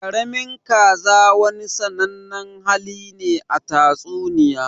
Ƙaramin kaza wani sannanen hali ne a tatsuniya.